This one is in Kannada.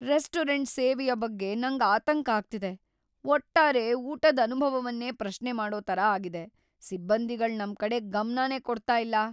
ರೆಸ್ಟೋರೆಂಟ್ ಸೇವೆಯ ಬಗ್ಗೆ ನಂಗ್ ಆತಂಕ ಆಗ್ತಿದೆ; ಒಟ್ಟಾರೆ ಊಟದ್ ಅನುಭವವನ್ನೇ ಪ್ರಶ್ನೆ ಮಾಡೋ ತರ ಆಗಿದೆ. ಸಿಬ್ಬಂದಿಗಳ್ ನಮ್ ಕಡೆ ಗಮ್ನನೇ ಕೊಡ್ತಾ ಇಲ್ಲ